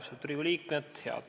Austatud Riigikogu liikmed!